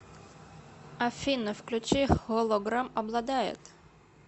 афина включи холограм обладает